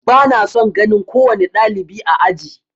Ba na son ganin kowane ɗalibi a aji.